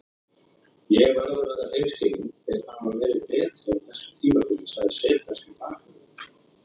Ég verð að vera hreinskilinn- þeir hafa verið betri á þessu tímabili, sagði serbneski bakvörðurinn.